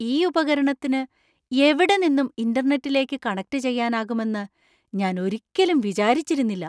ഈ ഉപകരണത്തിന് എവിടെനിന്നും ഇന്റർനെറ്റിലേക്ക് കണക്റ്റുചെയ്യാനാകുമെന്ന് ഞാൻ ഒരിക്കലും വിചാരിച്ചിരുന്നില്ല.